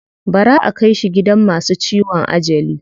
Bara aka kai shi gidan masu ciwon ajali.